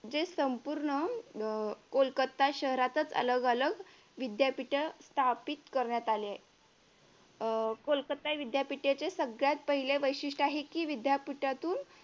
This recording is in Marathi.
जे संपूर्ण कोलकत्ता शहरातच अलग अलग विद्यापीठ स्थापित करण्यात आली आहेत कोलकत्ता विद्यापिठेचे सगळ्यात पहिले वैशिष्ट्य आहे कि विद्यापीठातून